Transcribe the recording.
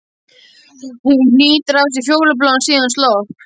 Hún hnýtir að sér fjólubláan, síðan slopp.